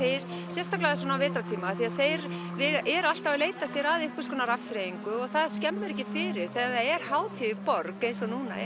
sérstaklega á vetrartíma af því að þeir eru alltaf að leita sér af einhvers konar afþreyingu og það skemmir ekki fyrir þegar það er hátíð í borg eins og núna